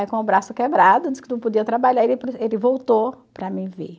Aí com o braço quebrado, disse que não podia trabalhar, ele preferiu voltou para me ver.